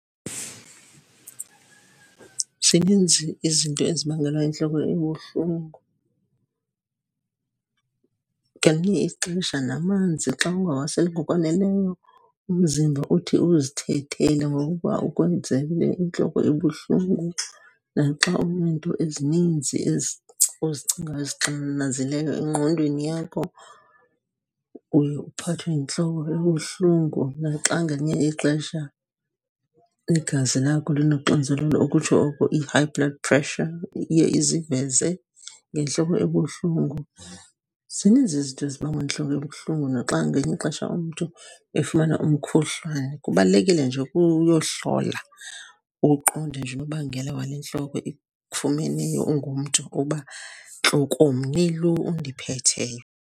Zininzi izinto ezibangelwa yintloko ebuhlungu. Ngelinye ixesha namanzi xa ungawaseli ngokwaneleyo umzimba uthi uzithethele ngokuba ukwenzele intloko ebuhlungu. Naxa uneento ezininzi ozicingayo, ezixananazileyo engqondweni yakho uye uphathwe yintloko ebuhlungu. Naxa ngelinye ixesha igazi lakho linoxinizelelo, ukutsho oko i-high blood pressure, iye iziveze ngentloko ebuhlungu. Zininzi izinto ezibangwa yintloko ebuhlungu, naxa ngelinye ixesha umntu efumana umkhuhlane. Kubalulekile nje uke uyohlola uqonde nje unobangela wale ntloko ikufumeneyo ungumntu, uba ntlokomni lo undiphetheyo.